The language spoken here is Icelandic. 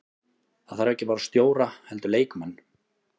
Það þarf ekki bara stjóra heldur leikmenn.